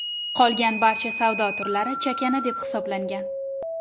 Qolgan barcha savdo turlari chakana deb hisoblangan .